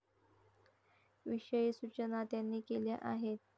विषयी सूचना त्यांनी केल्या आहेत.